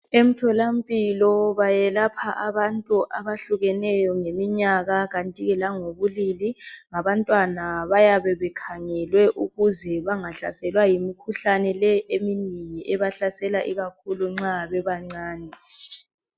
Emtholampilo bayelapha abantu abehlukeneyo ngeminyaka kanti ke langobulili labantwana bayabe bekhangelwe ukuze bangahlaselwa yimikhuhlane leyi ebahlasela bebancane.